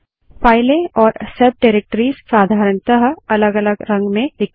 फाइलें और सब डाइरेक्टरीज़ साधारणतः अलग अलग रंग में दिखते हैं